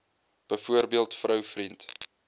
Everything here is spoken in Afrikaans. byvoorbeeld vrou vriend